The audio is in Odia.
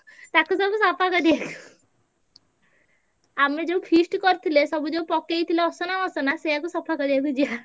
ତାକୁ ସବୁ ସଫା କରିଆ। ଆମେ ଯୋଉ feast ଜରିଥିଲେ ସବୁ ଯୋଉ ପକେଇଥିଲେ ଅସନା ମସନା ସେୟାକୁ ସଫା କରିଆକୁ ଯିବା।